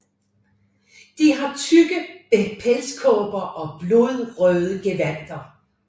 De har tykke pelsekåber og blodrøde gevandter